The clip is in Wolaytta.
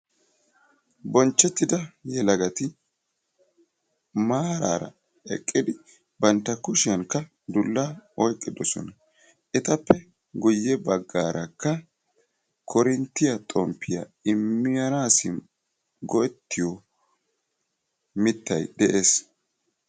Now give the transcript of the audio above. Bonchettida yelagati maaraara eqqidi bantta kushiyankka dullaa oyqqidosona. Etappe guyye baggaarakka korinttiya xomppiya immanaassi go'ettiyo mittayi de'es.